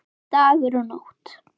Dagur og Nótt.